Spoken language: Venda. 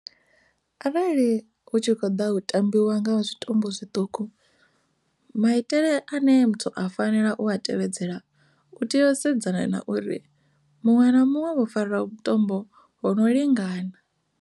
Arali hu tshi kho ḓa tambiwa nga zwitumbu zwiṱuku maitele ane muthu a fanela u tevhedzela u tea u sedzana na uri muṅwe na muṅwe vho fara vhutombo ho no lingana.